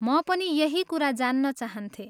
म पनि यही कुरा जान्न चाहन्थेँ।